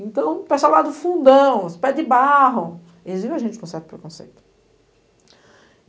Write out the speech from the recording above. Então, o pessoal lá do fundão, os pé-de-barro, eles viam a gente com um certo preconceito.